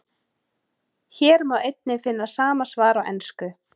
Hér má einnig finna sama svar á ensku.